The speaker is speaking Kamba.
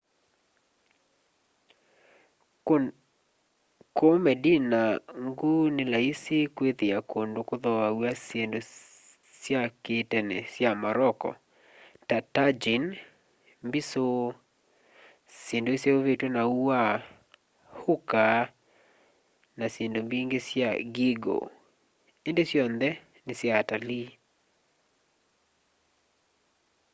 kuu medina nguu ni laisi kwithia kundu kuthoaw'a syindu sya ki'tene sya morocco ta tagine mbisu syindu iseuvitw'e na ua hookah na syindu mbingi sya geegaw indi syonthe ni sya atalii